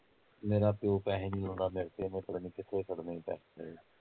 ਮੇਰਾ ਪਿਉ ਪੈਸੇ ਨੀ ਲਾਉਂਦਾ ਮੇਰੇ ਤੇ ਫੇਰ ਪਤਾ ਨੀ ਕਿੱਥੇ ਖੜਨੇ ਈ ਪੈਸੇ